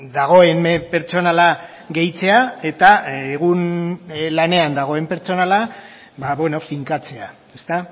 dagoen pertsonala gehitzea eta egun lanean dagoen pertsonala finkatzea ezta